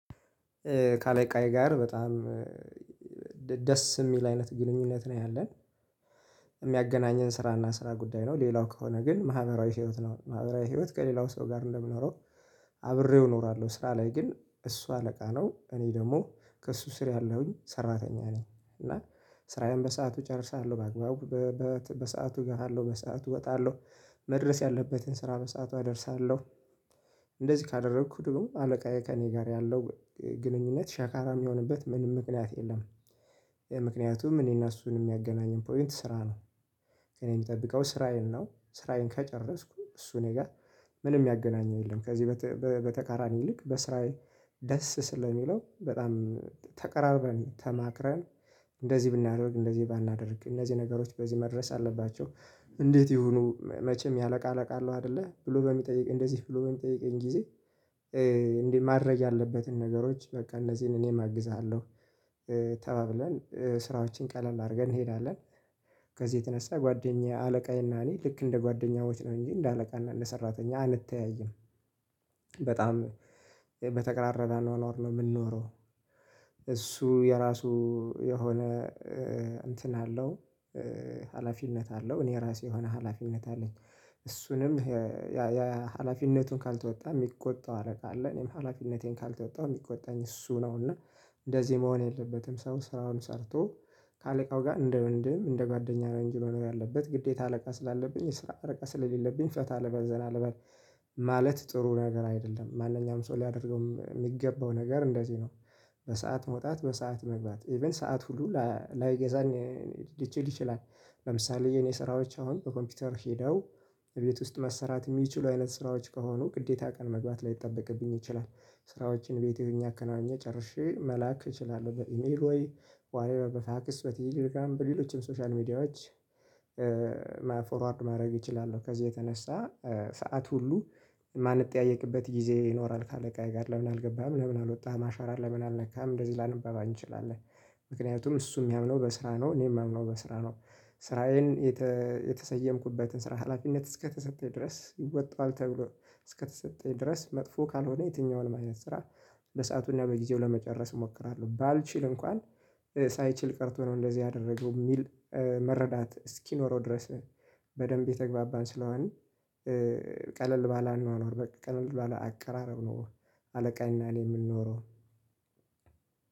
ከአለቃዬ ጋር በጣም ደስ የሚል አይነት ግንኙነት ነው ያለን የሚያገናኘን ስራ እና ስራ ጉዳይ ነው። ሌላው ከሆነ ግን ማህበራዊ ህይወት ነው ማህበራዊ ህይወት ከሌላው ሰው ጋር እንደምኖረው አብሬው እኖራለሁ። ስራ ላይ ግን እሱ አለቃ ነው እኔ ደግሞ ከእሱ ስር ያለሁኝ ሰራተኛ ነኝ። እና ስራዬን በሰአቱ እጨርሳለሁ በአግባቡ በሰአቱ እገባለው በሰአቱ እወጣለሁ መድረስ ያለበትን ስራ በሰአቱ አደርሳለሁ። እንደዚህ ካደረኩ ደግሞ አለቃዬ ከእኔ ጋር ያለው ግንኙነት ሻካራ የሚሆንበት ምንም ምክንያት የለም። ምክንያቱም እኔና እሱን የሚያገናኝም ፖይንት ስራ ነው። እኔ የምጠብቀው ስራዬን ነው ስራዬን ከጨረስኩ እሱ እኔ ጋር ምንም ያገናኘው የለም። ከዚህ በተቃራኒ ይልቅ በስራዬ ደስ ስለሚለው በጣም ተቀራርበን ተማክረን እንደዚህ ብናደርግ እንደዚህ ባናደርግ እነዚህ ነገሮች በዚህ መድረስ አለባቸው። እንዴት ይሁኑ መቼም ያለ ቃለቃለሁ አይደለ ብሎ በሚጠይቅ እንደዚህ ብሎ በሚጠይቀኝ ጠይቀኝ ጊዜ። እንዲህ ማድረግ ያለበትን ነገሮች በቃ እነዚህን እኔም አግዝሃለሁ። ተባብለን ስራዎችን ቀለል አድርገን እንሄዳለን። ከዚህ የተነሳ ጓደኛዬ አለቃዬ እና እኔ ልክ እንደ ጓደኛዎች ነው እንጂ እንደ አለቃና እንደ ሰራተኛ አንተያይም። በጣም በተቀራረዳ ነው የምንኖረው። እሱ የራሱ የሆነ እንትን አለው ሀላፊነት አለው እኔ ራሴ የሆነ ሀላፊነት አለኝ። እሱንም የሀላፊነቱን ካልተወጣ የሚቆጣው አለቃ አለ እኔም ሀላፊነቴን ካልተወጣሁ የሚቆጣኝ እሱ ነው። እና እንደዚህ መሆን የለበትም ሰው ስራውን ሰርቶ ከአለቃው ጋር እንደ ወንድም እንደ ጓደኛ ነው እንጅ መኖር ያለበት ግዴታ አለቃ ስላለብኝ ስራ አለቃ ስላለብኝ ፈታ አለባል ዘላ አለባል። ማለት ጥሩ ነገር አይደለም ማንኛውም ሰው ሊያደርገውም የሚገባው ነገር እንደዚህ ነው። በሰአት መውጣት በሰአት መግባት ኢቭን ሰዓት ሁሉ ላይገዛን ሊችል ይችላል። ለምሳሌ የኔ ስራዎች አሁን በኮምፒውተር ሄደው እቤት ውስጥ መሰራት የሚችሉ አይነት ስራዎች ከሆኑ ግዴታ ቀን መግባት ላይጠበቅብኝ ይችላል። ስራዎችን ቤቴ ሁኘ አከናውኛ ጨርሼ መላክ እችላለሁ በኢሜል ሆይ ዋትቨር በፋክስ ወይ ቴለግራም በሌሎችም ሶሻል ሚዲያዎች። ማፎርዋርድ ማድረግ እችላለሁ። ከዚህ የተነሳ ሰዓት ሁሉ የማንጠያየቅበት ጊዜ ይኖራል። ካለቃዬ ጋር ለምን አልገባህም ለምን አልወጣህም አሻራህም ለምን አልነካህም እንደዚህ ላንባባል እንችላለን። ምክንያቱም እሱ የሚያምነው በስራ ነው እኔ የምያምነው በስራ ነው። ስራዬን የተሰየምኩበትን ስራ ሀላፊነት እስከተሰጠኝ ድረስ ይወጣል ተብሎ እስከተሰጠኝ ድረስ መጥፎ ካልሆነ የትኛውን ማየት ለሰአቱና በጊዜው ለመጨረስ እሞክራለሁ። ባልችል እንኳን ሳይችል ቀርቶ ነው እንደዚህ ያደረገው የሚል መረዳት እስኪኖረው ድረስ። በደንብ የተግባባን ስለሆነ ቀለል ባለአንድ ማኖር በቃ ቀለል ባለአንድ አቀራረብ ነው። አለቃኝና እኔ የምንኖረው